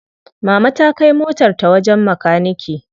Mama ta kai motar ta wajen makanike.